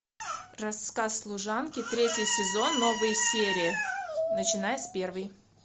рассказ служанки третий сезон новые серии начиная с первой